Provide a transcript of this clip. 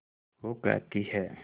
वो कहती हैं